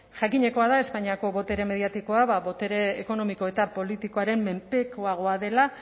jakinekoa da espainiako botere mediatikoa botere ekonomiko eta politikoaren menpekoagoa dela